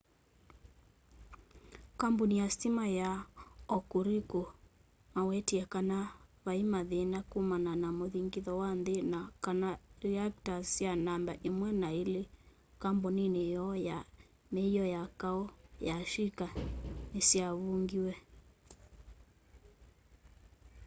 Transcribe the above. kambũnĩ ya sitima ya hokuriku mawetĩe kana vaĩmathĩna kũmana na mũthĩngĩtho wa nthĩ na kana reactors sya namba 1 na 2 kambũnĩnĩ yoo ya mĩio ya kaũ ya shĩka nĩsyavũngĩwe